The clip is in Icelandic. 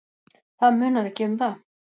Það munar ekki um það.